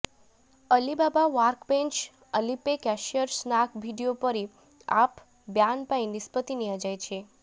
Alibaba workbench Alipay cashier snack video ପରି app ban ପାଇଁ ନିଷ୍ପତ୍ତି ନିଆଯାଇଛି